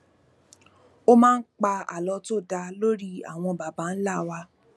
ó máa ń pa àlọ tó dá lórí àwọn baba ńlá wa